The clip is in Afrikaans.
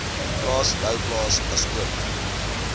plaas louwplaas asook